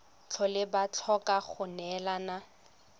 tlhole ba tlhoka go neelana